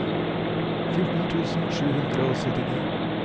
fjorten tusen sju hundre og syttini